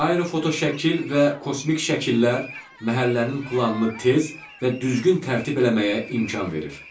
Aerofotoşəkil və kosmik şəkillər məhəllənin planını tez və düzgün tərtib eləməyə imkan verir.